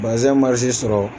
Bazɛn sɔrɔ